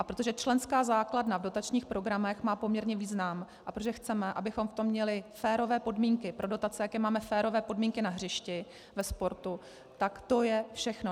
A protože členská základna v dotačních programech má poměrně význam a protože chceme, abychom v tom měli férové podmínky pro dotace, jako máme férové podmínky na hřišti ve sportu, tak to je všechno.